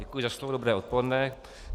Děkuji za slovo, dobré odpoledne.